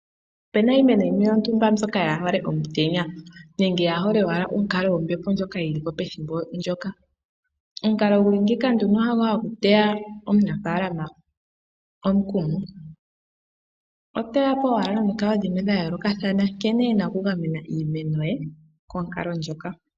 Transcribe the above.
Opena iimeno yimwe yontumba mbyoka ka yi hole omutenya, nenge ka yi hole owala onkalo yombepo ndjoka yi liko pethimbo ndoka. Omukalo gu li ngeyi ha go hagu teya omunafaalama omukumo. Oteyapo owala nomikalo dhimwe dha yoolokathana nkene ena oku gamena iimeno ye konkalo ndjoka.